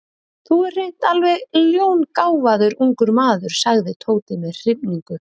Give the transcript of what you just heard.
Þú ert hreint alveg ljóngáfaður ungur maður sagði Tóti með hrifningu.